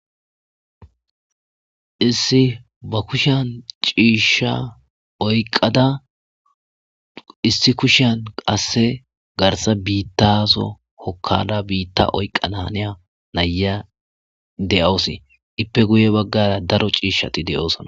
Issi ba kushan ciishsha oyqada issi kushan qasse garsa biittaso hokkada biitta oyqqana haneya naya de7oosi ippe guye baggara daro ciishshati de'oosona.